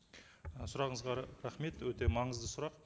ы сұрағыңызға рахмет өте маңызды сұрақ